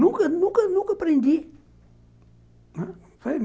Nunca nunca nunca aprendi.